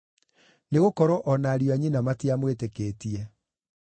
Nĩgũkorwo o na ariũ a nyina matiamwĩtĩkĩtie.